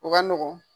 O ka nɔgɔn